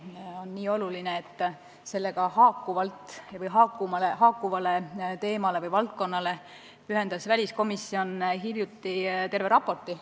See on nii oluline, et sellega haakuvale valdkonnale pühendas väliskomisjon hiljuti terve raporti.